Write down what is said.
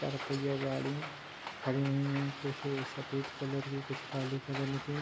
चार पहिया गाड़ी खड़ी हुई हैं कुछ सफ़ेद कलर की कुछ काले कलल की।